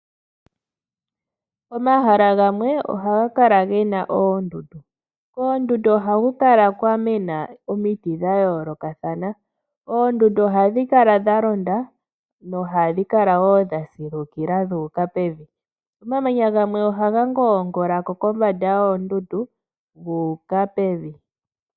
Omahala gamwe ohaga kala gena oondundu, koondundu ohaku kala kwamena omiti dha yoolokathana. Oondundu ohadhi kala dha londa no ohadhi kala dha silukila dhu uka pevi, omamanya gamwe ohaga ngongolako kombanda gu uka pevi.